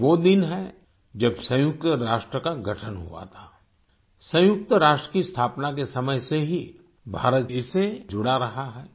ये वो दिन है जब सयुंक्त राष्ट्र का गठन हुआ था सयुंक्त राष्ट्र की स्थापना के समय से ही भारत इससे जुड़ रहा है